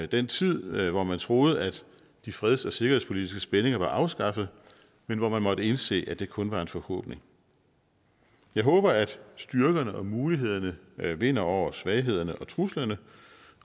den tid hvor man troede at de freds og sikkerhedspolitiske spændinger var afskaffet men hvor man måtte indse at det kun var en forhåbning jeg håber at styrkerne og mulighederne vinder over svaghederne og truslerne